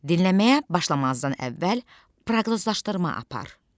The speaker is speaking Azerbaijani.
Dinləməyə başlamazdan əvvəl proqnozlaşdırma apar.